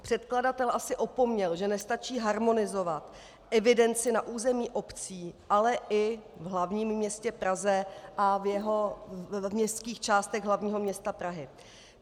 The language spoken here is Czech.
Předkladatel asi opomněl, že nestačí harmonizovat evidenci na území obcí, ale i v hlavním městě Praze a v městských částech hlavního města Prahy.